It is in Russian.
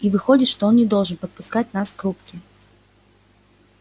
и выходит что он не должен подпускать нас к рубке